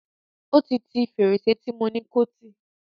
Ó ti ti fèrèsé tí mo ni kó tì.